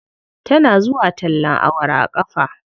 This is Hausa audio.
Tana zuwa tallen awara a ƙafa.